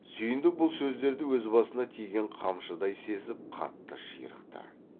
сүйіндік бұл сөздерді өз басына тиген қамшыдай сезіп қатты ширықты